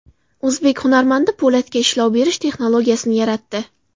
O‘zbek hunarmandi po‘latga ishlov berish texnologiyasini yaratdi.